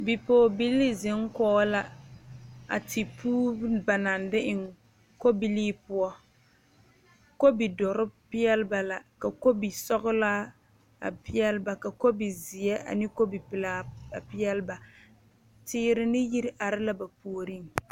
Bipɔgebilli zeŋ kɔɔ la a teɛ puuri ba naŋ de eŋ kobilii poɔ, kobil doɔre pɛɛle. ba la ka kobil sɔglaa a pɛɛle ba ka kobil pɛlaa a pɛɛle ba tere ne yiri are la ba puoriŋ.